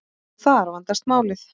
Og þar vandast málið.